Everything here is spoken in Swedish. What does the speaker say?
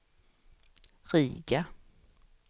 Riga